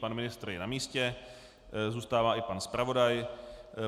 Pan ministr je na místě, zůstává i pan zpravodaj.